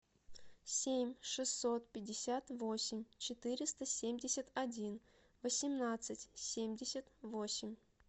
семь шестьсот пятьдесят восемь четыреста семьдесят один восемнадцать семьдесят восемь